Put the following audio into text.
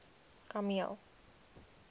kameel